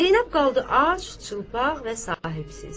Zeynəb qaldı ac, çılpaq və sahibsiz.